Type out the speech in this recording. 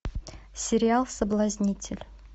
сериал соблазнитель